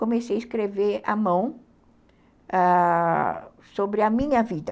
Comecei a escrever à mão, ãh... sobre a minha vida.